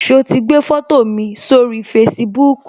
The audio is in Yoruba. So ti gbé foto mi sórí Facebook